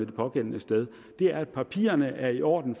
det pågældende sted er at papirerne er i orden